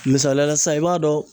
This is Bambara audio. Misaliya la sisan i b'a dɔn